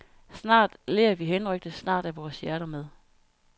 Snart ler vi henrykte, snart er vores hjerter med.